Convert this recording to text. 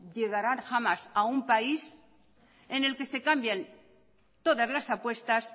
llegará jamás a un país en el que se cambien todas las apuestas